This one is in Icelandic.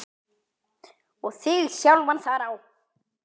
og þig sjálfan þar á.